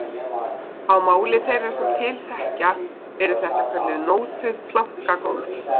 Á máli þeirra sem til þekkja eru þetta kölluð nótuð plankagólf